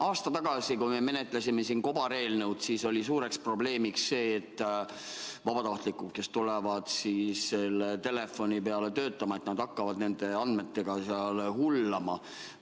Aasta tagasi, kui me menetlesime siin kobareelnõu, oli suureks probleemiks see, et vabatahtlikud, kes tulevad sellele telefoniliinile tööle, hakkavad nende andmetega hullama.